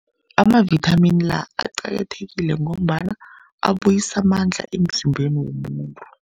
Amavithamini la aqakathekile, ngombana abuyisa amandla emzimbeni womuntu.